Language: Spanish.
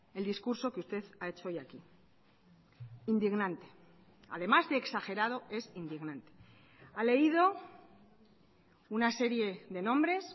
el discurso que usted ha hecho hoy aquí indignante además de exagerado es indignante ha leído una serie de nombres